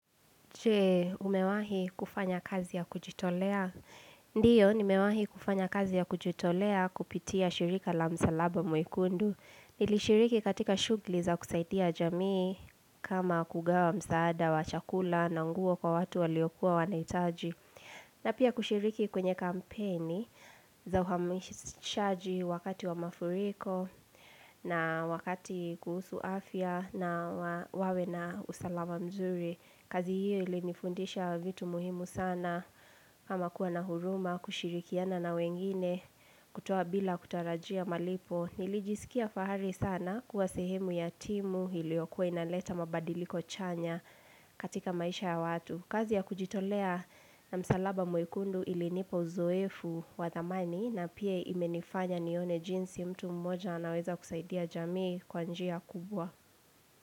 Che, umewahi kufanya kazi ya kujitolea? Ndio, nimewahi kufanya kazi ya kujitolea kupitia shirika la msalaba mwekundu. Nilishiriki katika shughuli za kusaidia jamii kama kugawa msaada wa chakula na nguo kwa watu waliokuwa wanahitaji. Na pia kushiriki kwenye kampeni za uhamishaji wakati wa mafuriko na wakati kuhusu afya na wawe na usalaba mzuri. Kazi hiyo ili nifundisha vitu muhimu sana, kama kuwa na huruma, kushirikiana na wengine, kutoa bila kutarajia malipo. Nilijisikia fahari sana kuwa sehemu ya timu iliyokuwa inaleta mabadiliko chanya katika maisha ya watu. Kazi ya kujitolea na msalaba mwekundu ilinipa uzoefu wa thamani na pia imenifanya nione jinsi mtu mmoja anaweza kusaidia jamii kwa njia kubwa.